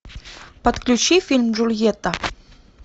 подключи фильм джульетта